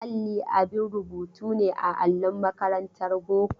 Alli abin rubutu ne a allon makarantar boko.